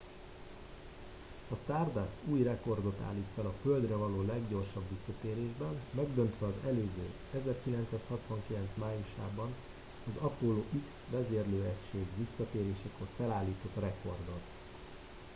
a stardust új rekordot állít fel a földre való leggyorsabb visszatérésben megdöntve az előző 1969 májusában az apollo x vezérlőegység visszatérésekor felállított rekordot